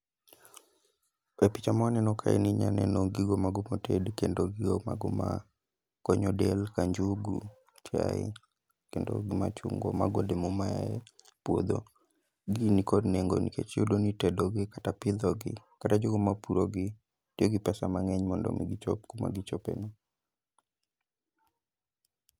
E picha mwaneno kae ni inya neno gigo mago motedi kendo gigo mago ma konyo del, ka njugu, chae, kendo gi machungwa. Mago olemo ma yae puodho. Gigi ni kod nengo nikech iyudo ni itedo gi kata pidho gi, kata jogo ma purogi tiyo gi pesa mang'eny mondo mi gichop kuma gichope no.